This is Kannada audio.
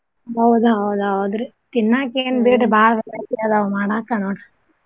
ಹೌದ್ ಹೌದ್ ಹೌದ್ರಿ. ತಿನ್ನಾಕ್ ಏನ್ ಬಿಡ್ರಿ ಬಾಳ್ variety ಅದಾವ್ ಮಾಡಾಕ ನೋಡ್ರಿ.